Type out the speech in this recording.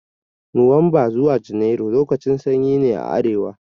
Nuwamba zuwa junairu lokacin sanyi ne a arewa